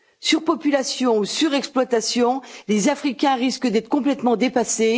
Surpopulation ou surexploitation, des Africains risquent d'être complètement dépassés.